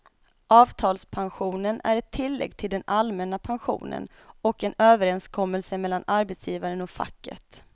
Avtalspensionen är ett tillägg till den allmänna pensionen och en överenskommelse mellan arbetsgivaren och facket.